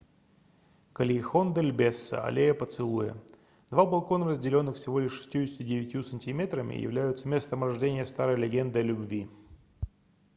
кальехон-дель-бесо аллея поцелуя. два балкона разделённых всего лишь 69 сантиметрами являются местом рождения старой легенды о любви